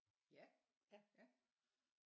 Ja ja